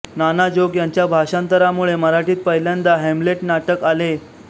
नाना जोग यांच्या भाषांतरामुळे मराठीत पहिल्यांदा हॅम्लेट नाटक आले